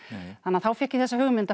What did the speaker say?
þá fékk ég þessa hugmynd að